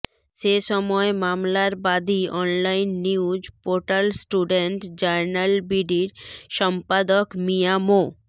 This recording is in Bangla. সে সময় মামলার বাদী অনলাইন নিউজ পোর্টাল স্টুডেন্ট জার্নালবিডির সম্পাদক মিঞা মো